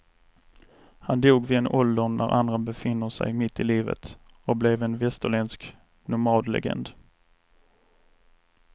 Han dog vid en ålder när andra befinner sig mitt i livet och blev en västerländsk nomadlegend.